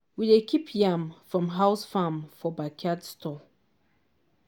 we dey keep yam from house farm for backyard store.